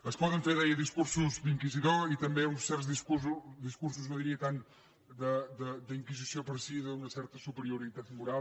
es poden fer deia discursos d’inquisidor i també uns certs discursos no diria tant d’inquisició però sí d’una certa superioritat moral